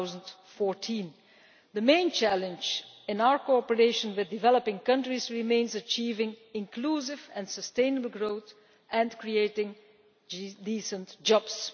2014. The main challenge in our cooperation with developing countries remains achieving inclusive and sustainable growth and creating decent jobs.